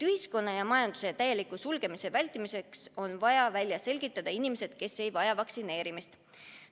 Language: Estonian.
Ühiskonna ja majanduse täieliku sulgemise vältimiseks on vaja välja selgitada inimesed, kes ei vaja vaktsineerimist.